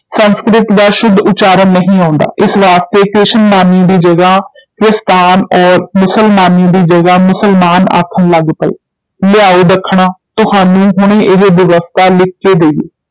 ਸੰਸਕ੍ਰਿਤ ਦਾ ਸ਼ੁੱਧ ਉਚਾਰਣ ਨਹੀਂ ਆਉਂਦਾ, ਇਸ ਵਾਸਤੇ ਕ੍ਰਿਸ਼ਨ ਮਾਨਯ ਦੀ ਜਗ੍ਹਾ ਕ੍ਰਿਸਤਾਨ ਔਰ ਮੁਸਲ-ਮਾਨਯ ਦੀ ਜਗ੍ਹਾ ਮੁਸਲਮਾਨ ਆਖਣ ਲਗ ਪਏ, ਲਿਆਓ ਦੱਖਣਾ ਤੁਹਾਨੂੰ ਹੁਣੇ ਇਹ ਬਿਵਸਥਾ ਲਿਖ ਕੇ ਦੇਈਏ।